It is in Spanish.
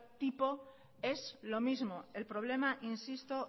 tipo es lo mismo el problema insisto